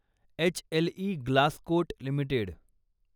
HLE Glascoat limited